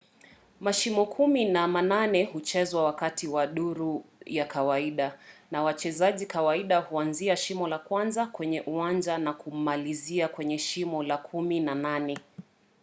mashimo kumi na manane huchezwa wakati wa duru ya kawaida na wachezaji kawaida huanzia shimo la kwanza kwenye uwanja na kumalizia kwenye shimo la kumi na nane